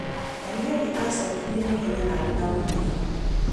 Daniel aacokirie na ihenya na arĩ na ũmĩrĩru.